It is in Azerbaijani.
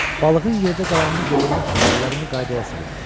Balığın yerdə qalanını qorumaq üçün əllərimi qaydaya salım.